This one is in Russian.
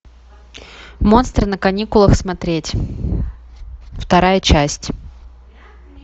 монстры на каникулах смотреть вторая часть